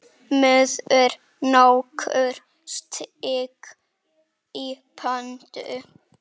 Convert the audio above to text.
Maður nokkur steig í pontu.